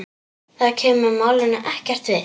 Það kemur málinu ekkert við.